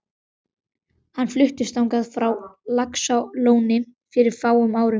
Hann fluttist þangað frá Laxalóni fyrir fáum árum.